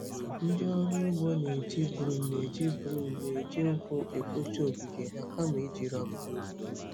Ndị ọrụ ugbo na-eji broom na-eji broom na-eji nkwụ ekpocha ogige ha kama iji rọba.